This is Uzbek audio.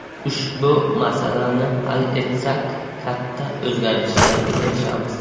Ushbu masalani hal etsak katta o‘zgarishlarga erishamiz.